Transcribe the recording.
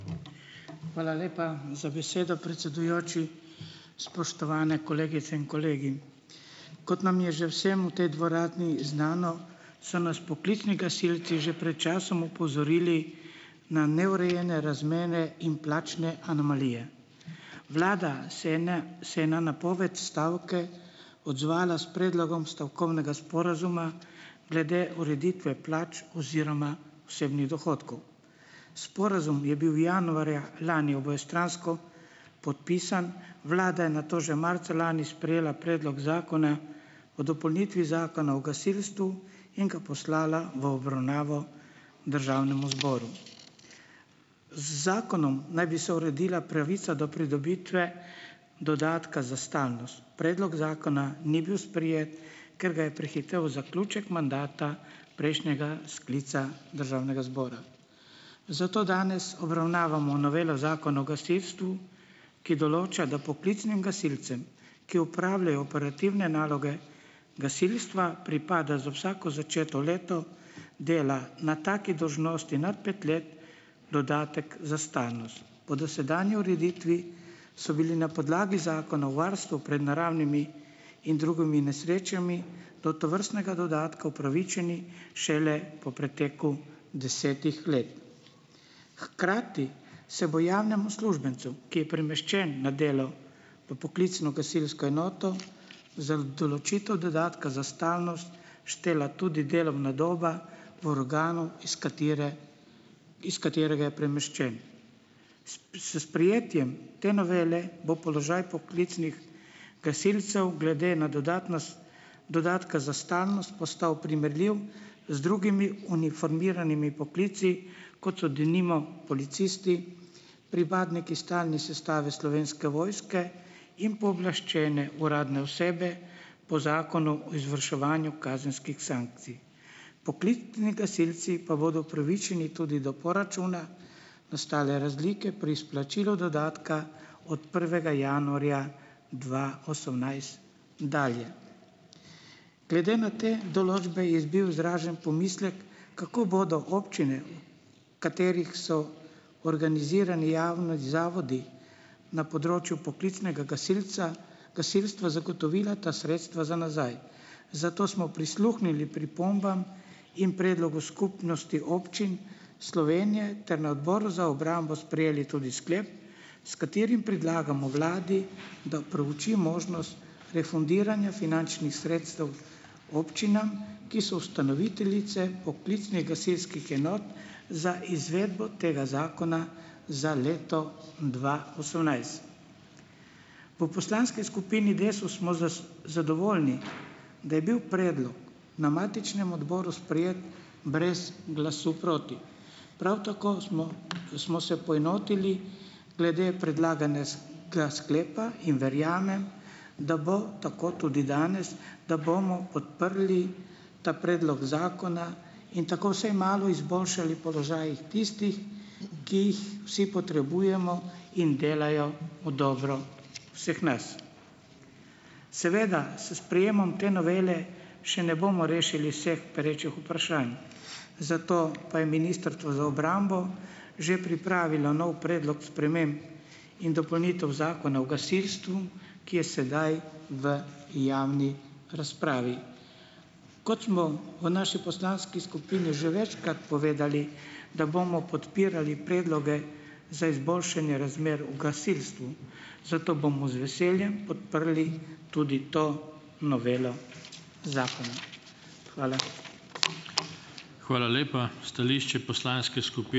Hvala lepa za besedo, predsedujoči. Spoštovane kolegice in kolegi! Kot nam je že vsem v tej dvorani znano, so nas poklicni gasilci že pred časom opozorili na neurejene razmere in plačne anomalije. Vlada se je se je na napoved stavke odzvala s predlogom stavkovnega sporazuma glede ureditve plač oziroma osebnih dohodkov. Sporazum je bil januarja lani obojestransko podpisan, vlada je nato že marca lani sprejela predlog zakona o dopolnitvi Zakona o gasilstvu in ga poslala v obravnavo državnemu zboru. Z zakonom naj bi se uredila pravica do pridobitve dodatka za stalnost. Predlog zakona ni bil sprejet, ker ga je prehitel zaključek mandata prejšnjega sklica državnega zbora. Zato danes obravnavamo novelo Zakona o gasilstvu, ki določa, da poklicnim gasilcem, ki upravljajo operativne naloge gasilstva, pripada za vsako začeto leto dela na taki dolžnosti nad pet let dodatek za stalnost. Po dosedanji ureditvi so bili na podlagi Zakona o varstvu pred naravnimi in drugimi nesrečami do tovrstnega dodatka upravičeni šele po preteku desetih let. Hkrati se bo javnemu uslužbencu, ki je premeščen na delo v poklicno gasilsko enoto, za določitev dodatka za stalnost štela tudi delovna doba v organu, iz katere iz katerega je premeščen. S s sprejetjem te novele bo položaj poklicnih gasilcev glede na dodatka za stalnost postal primerljiv z drugimi uniformiranimi poklici, kot so denimo policisti, pripadniki stalne sestave Slovenske vojske in pooblaščene uradne osebe po Zakonu o izvrševanju kazenskih sankcij. Poklicni gasilci pa bodo upravičeni tudi do poračuna nastale razlike pri izplačilu dodatka od prvega januarja dva osemnajst dalje. Glede na te določbe je bil izražen pomislek, kako bodo občine, katerih so organizirani javni zavodi na področju poklicnega gasilca gasilstva, zagotovila ta sredstva za nazaj. Zato smo prisluhnili pripombam in predlogu Skupnosti občin Slovenije ter na odboru za obrambo sprejeli tudi sklep, s katerim predlagamo vladi, da prouči možnost refundiranja finančnih sredstev občinam, ki so ustanoviteljice poklicnih gasilskih enot za izvedbo tega zakona za leto dva osemnajst. V poslanski skupini Desus smo zadovoljni, da je bil predlog na matičnem odboru sprejet brez glasu proti. Prav tako smo smo se poenotili glede predlaganega sklepa in verjamem, da bo tako tudi danes, da bomo podprli ta predlog zakona in tako vsaj malo izboljšali položaj tistih, ki jih vsi potrebujemo in delajo v dobro vseh nas. Seveda s sprejemom te novele še ne bomo rešili vseh perečih vprašanj, zato pa je Ministrstvo za obrambo že pripravilo nov predlog sprememb in dopolnitev Zakona o gasilstvu, ki je sedaj v javni razpravi. Kot smo o naši poslanski skupini že večkrat povedali, da bomo podpirali predloge za izboljšanje razmer o gasilstvu, zato bomo z veseljem podprli tudi to novelo zakona. Hvala.